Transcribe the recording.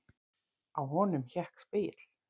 Á honum hékk spegill.